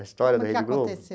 A história da Rede Globo.